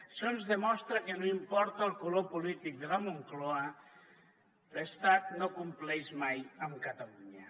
això ens demostra que no importa el color polític de la moncloa l’estat no compleix mai amb catalunya